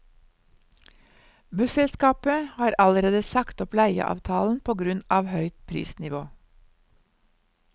Busselskapet har allerede sagt opp leieavtalen på grunn av høyt prisnivå.